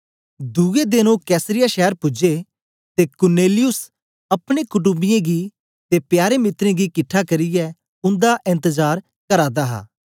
दुए देन ओ कैसरिया शैर पूजे ते कुरनेलियुस अपने कुटम्बियें गी ते प्यारे मित्रें गी किटठा करियै उंदा एन्तजार करा दा हा